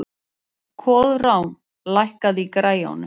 Koðrán, lækkaðu í græjunum.